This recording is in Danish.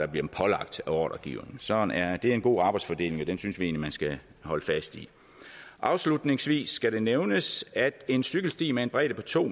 dem pålagt af ordregiveren sådan er det og det er en god arbejdsfordeling og den synes vi egentlig man skal holde fast i afslutningsvis skal det nævnes at en cykelsti med en bredde på to